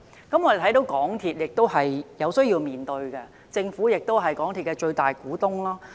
我們看到港鐵的壟斷問題便有需要面對，因政府是港鐵的最大股東。